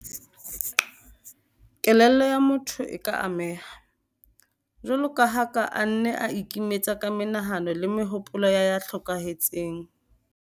Kelello ya motho e ka ameha, jwalo ka ha a ka nna a ikimetsa ka menahano le mehopolo ya ya hlokahetseng.